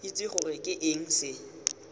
itse gore ke eng se